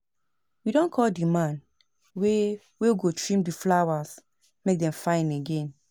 We don call the man wey wey go trim the flowers make dem fine again